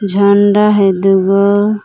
झंडा हइ दुगो --